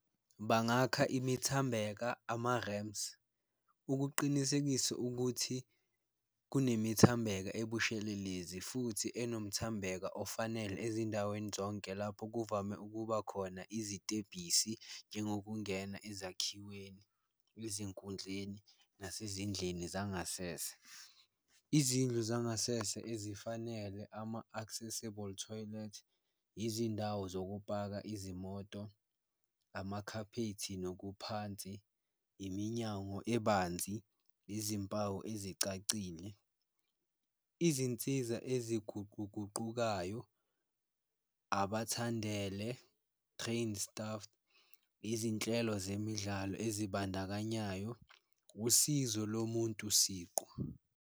Bangakha imithambeka ama-ramps ukuqinisekisa ukuthi kunemithambheka ebushelelezi futhi enomuthambheka ofanele ezindaweni zonke lapho kuvame ukuba khona izitebhisi, njengokungena ezakhiweni, ezinkundleni, nasezindlini zangasese. Izindlu zangasese ezifanele ama-accessible toilet, izindawo zokupaka izimoto, amakhaphethi nokuphansi, iminyango ebanzi, izimpawu ezicacile. Izinsiza eziguquguqukayo, abathandele, trained staff, izinhlelo zemidlalo ezibandakanyayo, usizo lomuntu siqu.